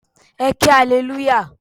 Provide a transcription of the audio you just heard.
Ẹ ké alelúyà!